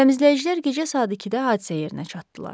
Təmizləyicilər gecə saat 2-də hadisə yerinə çatdılar.